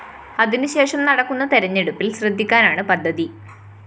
അതിനുശേഷം നടക്കുന്ന തെരഞ്ഞെടുപ്പില്‍ ശ്രദ്ധിക്കാനാണ് പദ്ധതി